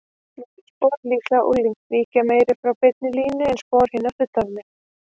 Smærri spor, líklega unglings, víkja meira frá beinni línu en spor hinna fullorðnu.